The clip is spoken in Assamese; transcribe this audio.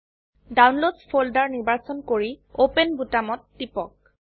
ডাউনলোডছ ফোল্ডাৰ নিৰ্বাচন কৰি অপেন বোতামত টিপক